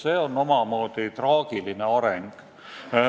See on omamoodi traagiline areng.